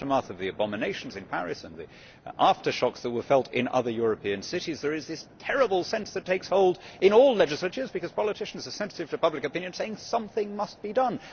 in the aftermath of the abominations in Paris and the aftershocks that were felt in other European cities there is this terrible sense that takes hold in all legislatures, because politicians are sensitive to public opinion saying something must be done.